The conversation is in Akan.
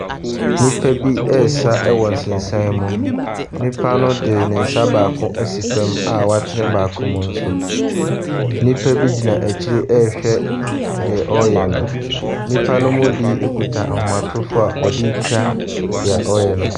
Nnipa bi ɛresa wɔ nsensan mu. Nnipa no de ne nsa baako ɛsi fam a woatene baako mu ɛnso. Nnipa gyina akyire ɛrewhɛ nea ɔreyɛ no. nnipa no bi kura ahomatorofo a ɔdetwa dea ɔreyɛ no.